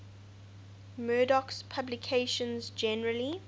murdoch's publications generally